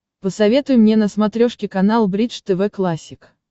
посоветуй мне на смотрешке канал бридж тв классик